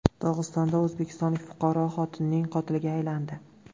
Dog‘istonda o‘zbekistonlik fuqaro xotinining qotiliga aylandi.